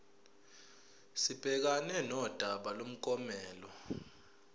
sibhekane nodaba lomklomelo